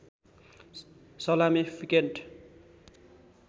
salami piccante